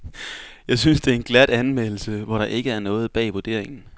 Jeg synes det er en glat anmeldelse, hvor der ikke er noget bag vurderingen.